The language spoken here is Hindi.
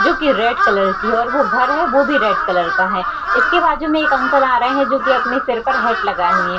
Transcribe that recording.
जो की रेड कलर की है और वो घर है वो भी रेड कलर का है इसके बाजु में एक अंकल आ रहे हैं जो की अपने सिर पर हैट लगाए हुए हैं।